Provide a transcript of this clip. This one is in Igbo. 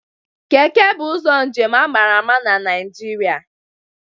Keke bụ ụzọ njem a mara ama n'Naijiria